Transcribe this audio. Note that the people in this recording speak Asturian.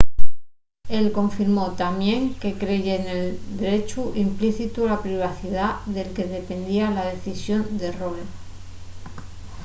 él confirmó tamién que creye nel drechu implícitu a la privacidá del que dependía la decisión de roe